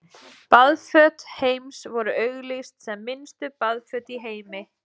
Baðföt Heims voru auglýst sem minnstu baðföt í heimi.